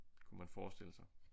Kunne man forestille sig